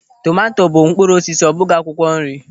Tomanto bụ mkpụrụ osisi, ọ bụghị akwụkwọ nri.